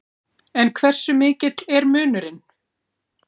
En hversu mikill er munurinn?